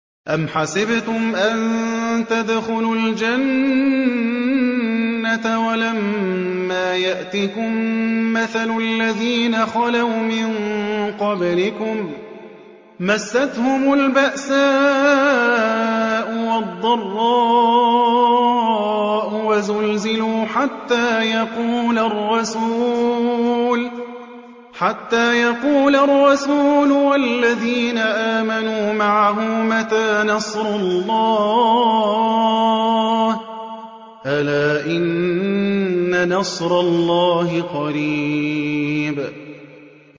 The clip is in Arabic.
أَمْ حَسِبْتُمْ أَن تَدْخُلُوا الْجَنَّةَ وَلَمَّا يَأْتِكُم مَّثَلُ الَّذِينَ خَلَوْا مِن قَبْلِكُم ۖ مَّسَّتْهُمُ الْبَأْسَاءُ وَالضَّرَّاءُ وَزُلْزِلُوا حَتَّىٰ يَقُولَ الرَّسُولُ وَالَّذِينَ آمَنُوا مَعَهُ مَتَىٰ نَصْرُ اللَّهِ ۗ أَلَا إِنَّ نَصْرَ اللَّهِ قَرِيبٌ